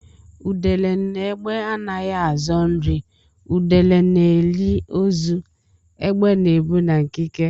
Udele na égbè anaghị azọ nri; udele na-eri ozu; égbè na-ebu na nkike.